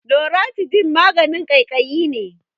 Loratidine maganin ƙaiƙayi ne.